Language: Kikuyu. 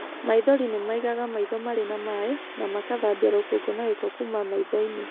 Maithori nĩ maigaga maitho marĩ na maĩ, na makathambia rũkũngũ na gĩko kuuma maitho-inĩ.